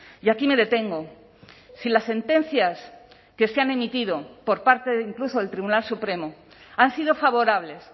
y aquí me detengo si las sentencias que se han emitido por parte de incluso del tribunal supremo han sido favorables